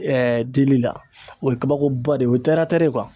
dili la o ye kabakoba de ye o ye